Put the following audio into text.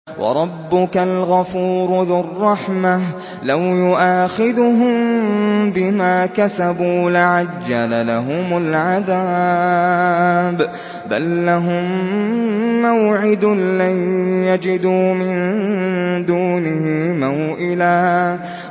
وَرَبُّكَ الْغَفُورُ ذُو الرَّحْمَةِ ۖ لَوْ يُؤَاخِذُهُم بِمَا كَسَبُوا لَعَجَّلَ لَهُمُ الْعَذَابَ ۚ بَل لَّهُم مَّوْعِدٌ لَّن يَجِدُوا مِن دُونِهِ مَوْئِلًا